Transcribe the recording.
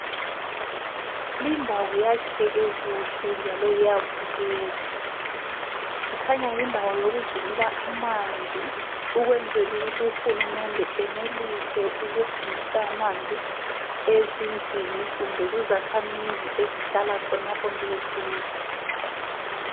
Lindawo yakheke kuhle njalo iyabukeka. Kukhanya yindawo yokugcinela amanzi ukwenzela ukuthi uhulumende enelise ukuhambisa amanzi ezindlini kumbe kuzakhamizi ezihlala khonapho nje eduze.